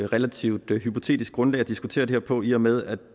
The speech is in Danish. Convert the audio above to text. relativt hypotetisk grundlag at diskutere det her på i og med at